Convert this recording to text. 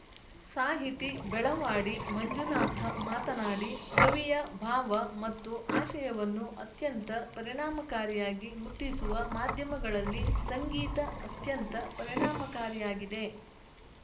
ಸಾಹಿತಿ ಬೆಳವಾಡಿ ಮಂಜುನಾಥ ಮಾತನಾಡಿ ಕವಿಯ ಭಾವ ಮತ್ತು ಆಶಯವನ್ನು ಅತ್ಯಂತ ಪರಿಣಾಮಕಾರಿಯಾಗಿ ಮುಟ್ಟಿಸುವ ಮಾಧ್ಯಮಗಳಲ್ಲಿ ಸಂಗೀತ ಅತ್ಯಂತ ಪರಿಣಾಮಕಾರಿಯಾಗಿದೆ